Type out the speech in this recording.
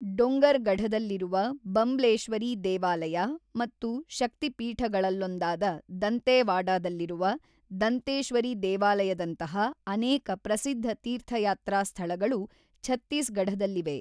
ಡೊಂಗರ್‌ಗಢದಲ್ಲಿರುವ ಬಂಬ್ಲೇಶ್ವರಿ ದೇವಾಲಯ ಮತ್ತು ಶಕ್ತಿ ಪೀಠಗಳಲ್ಲೊಂದಾದ ದಂತೇವಾಡಾದಲ್ಲಿರುವ ದಂತೇಶ್ವರಿ ದೇವಾಲಯದಂತಹ ಅನೇಕ ಪ್ರಸಿದ್ಧ ತೀರ್ಥಯಾತ್ರಾ ಸ್ಥಳಗಳು ಛತ್ತೀಸ್‌ಗಢದಲ್ಲಿವೆ.